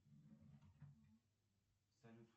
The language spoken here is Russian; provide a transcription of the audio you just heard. салют